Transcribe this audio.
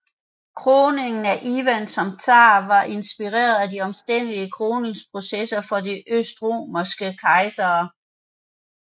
Kroningen af Ivan som zar var inspireret af de omstændelige kroningsprocesser for de østromerske kejsere